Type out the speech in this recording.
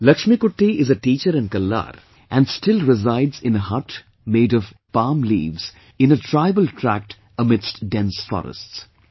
Laxmikutty is a teacher in Kallar and still resides in a hut made of palm leaves in a tribal tract amidst dense forests